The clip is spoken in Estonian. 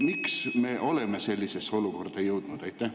Miks me oleme sellisesse olukorda jõudnud?